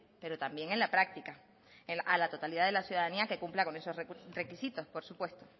pero también en la práctica a la totalidad de la ciudadanía que cumpla con esos requisitos por supuesto